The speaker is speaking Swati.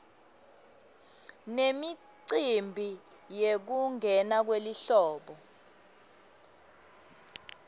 nemicimbi yekungena kwelihlobo